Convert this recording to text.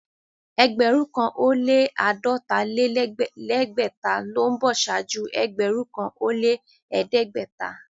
Ẹgbẹ̀rún kàn ó lẹ́ àádọ́ta-lé-lẹ́gbẹ̀ta ló ń bọ̀ ṣáájú ẹgbẹ̀rún kàn ó lẹ́ ẹ̀ẹ́dẹ́gbẹ̀ta.